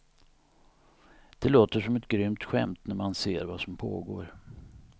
Det låter som ett grymt skämt när man ser vad som pågår.